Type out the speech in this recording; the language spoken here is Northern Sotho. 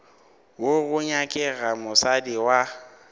wo go nyakega mosadi wa